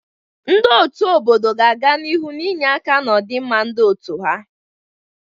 Ndị ọ́tù obodo ga-aga n'ihu na-enye aka n'ọdịmma ndị otu ha.